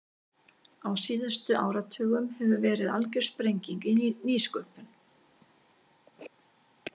Á síðustu áratugum hefur verið algjör sprenging í nýsköpun.